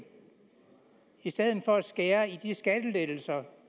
i stedet for at skære ned i de skattelettelser